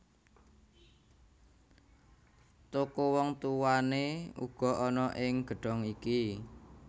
Toko wong tuwané uga ana ing gedhong iki